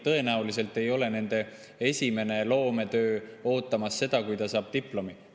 Tõenäoliselt ei ole esimene loometöö ootamas seda, kui ta on saanud diplomi.